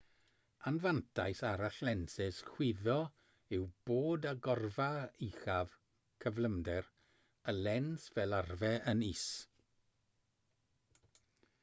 anfantais arall lensys chwyddo yw bod agorfa uchaf cyflymder y lens fel arfer yn is